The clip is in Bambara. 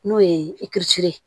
N'o ye ye